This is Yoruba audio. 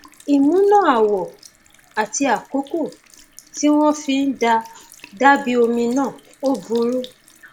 ìmúná àwọ àti àkókò tí wọn fi ń dà á dàbí omi náà ò ò burú